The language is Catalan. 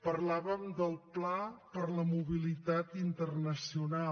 parlàvem del pla per a la mobilitat internacional